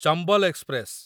Chambal express